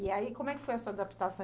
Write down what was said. E aí, como é que foi a sua adaptação?